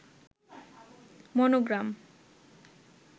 monogram